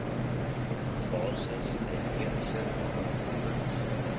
basis uiteensit waarvolgens